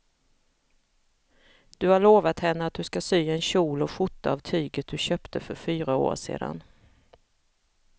Du har lovat henne att du ska sy en kjol och skjorta av tyget du köpte för fyra år sedan.